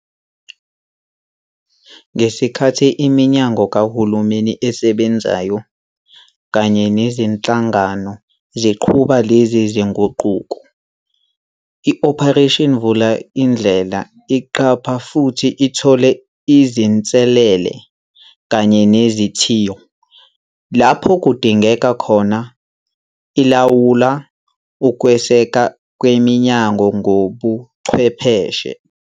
Ngesikhathi iminyango kahulumeni esebenzayo kanye nezinhlangano ziqhuba lezi zinguquko, iOperation Vulindlela iqapha futhi ithole izinselele kanye nezithiyo. Lapho kudingeka khona, ilawula ukwesekwa kweminyango ngokobuchwepheshe.